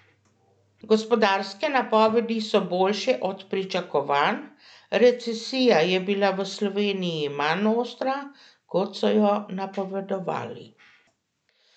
Gospodarske napovedi so boljše od pričakovanj, recesija je bila v Sloveniji manj ostra, kot so jo napovedovali.